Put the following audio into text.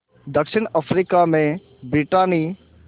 दक्षिण अफ्रीका में ब्रितानी